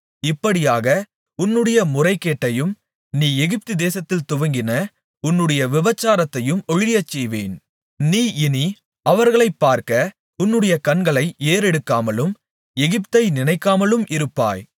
இப்படியாக உன்னுடைய முறைகேட்டையும் நீ எகிப்துதேசத்தில் துவங்கின உன்னுடைய விபசாரத்தையும் ஒழியச்செய்வேன் நீ இனி அவர்களை பார்க்க உன்னுடைய கண்களை ஏறெடுக்காமலும் எகிப்தை நினைக்காமலும் இருப்பாய்